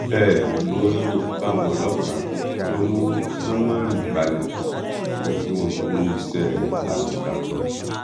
bẹẹ ló gbóríyìn fáwọn ọlọpàá tó mú sómórì balẹ o kí wọn kú iṣẹ takuntakun